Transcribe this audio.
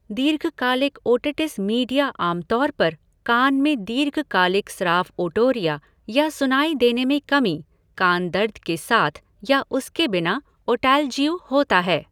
दीर्घकालिक otitis media आमतौर पर कान में दीर्घकालिक स्राव ओटोरिया, या सुनाई देने में कमी, कान दर्द के साथ या उसके बिना ओटैल्जि होता है।